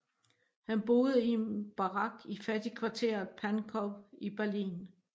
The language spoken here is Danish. Han boede i en barak i fattigkvarteret Pankow i Berlin